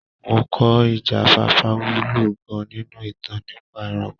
Mo kọ́ ìjáfáfá wúlò gan-an nínú ìtàn nípa ẹranko.